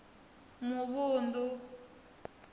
muvhundu